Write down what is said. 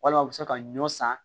Walima u bɛ se ka ɲɔ san